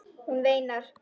Hún veinar.